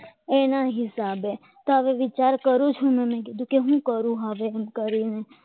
એના હિસાબે તો હવે વિચાર કરું છું કે શું કરું હવે એમ